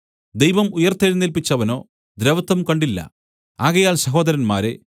ദൈവം ഉയിർത്തെഴുന്നേല്പിച്ചവനോ ദ്രവത്വം കണ്ടില്ല ആകയാൽ സഹോദരന്മാരേ